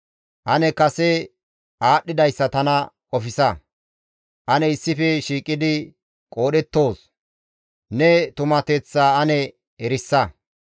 Ane kase aadhdhidayssa tana qofsa; ane issife shiiqidi qoodhettoos; ne tumateththaa ane erisa.